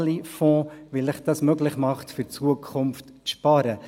Sie alle haben ja auch Fonds, weil dies Ihnen ermöglicht, für die Zukunft zu sparen.